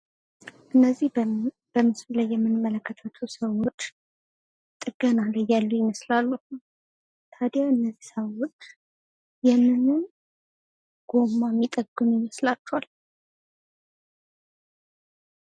እነዚህ በምስሉ ላይ የምንመለከታቸው ሰዎች ጥገና ላይ ያሉ ይመስላሉ::ተዳያ እነዚህ ሰዎች የምን ጎማ የሚጠግኑ ይመስላቹሃል?